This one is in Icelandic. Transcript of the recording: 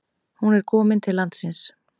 Hún er komin til landsins.